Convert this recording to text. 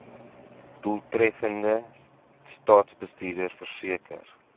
doeltreffende staatsbestuur verseker